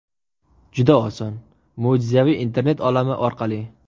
Juda oson: mo‘jizaviy internet olami orqali!